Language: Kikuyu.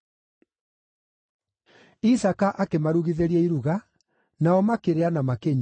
Isaaka akĩmarugithĩria iruga, nao makĩrĩa na makĩnyua.